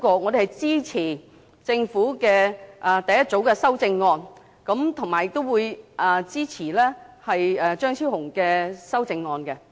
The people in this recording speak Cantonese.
我們支持政府的第一組修正案，亦會支持張超雄議員的修正案。